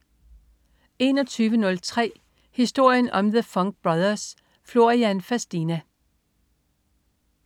21.03 Historien om The Funk Brothers. Florian Fastina